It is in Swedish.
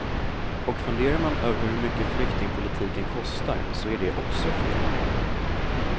Och funderar man över hur mycket flyktingpolitiken kostar så är det också fel.